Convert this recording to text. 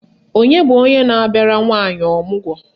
Onye bụ onye na-abịara nwaanyị ọmụgwọ?